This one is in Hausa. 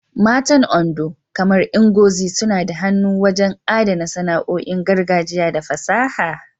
Matan Ondo, kamar Ngozi, suna da hannu wajen adana sana'o'in gargajiya da fasaha.